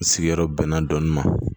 Sigiyɔrɔ bɛnna dɔni ma